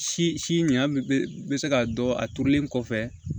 Si si ɲɛ bɛ se k'a dɔn a turulen kɔfɛ